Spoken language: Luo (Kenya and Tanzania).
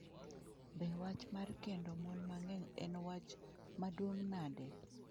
Be wach mar kendo mon mang’eny en wach maduong’ nade?